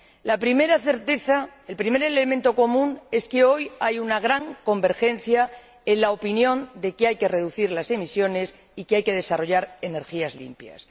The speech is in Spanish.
La primera certeza, o primer elemento común, es que hoy hay una gran convergencia en la opinión de que hay que reducir las emisiones y de que hay que desarrollar energías limpias.